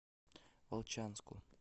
волчанску